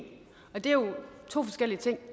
og det er jo to forskellige ting